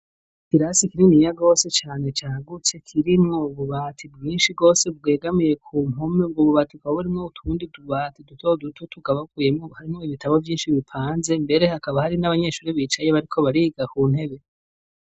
Ikirasi kininiya gose cane cagutse kirimwo ububati bwinshi bwose bwegamiye ku mpome, ubwo bubati bukaba burimwo utundi tubati duto duto tukaba tugabuyemwo harimwo ibitabo vyinshi bipanze ,mbere hakaba hari n'abanyeshuri bicaye bariko bariga ku ntebe.